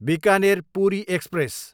Bikaner, Puri express